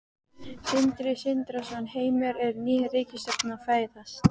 Sindri Sindrason: Heimir, er ný ríkisstjórn að fæðast?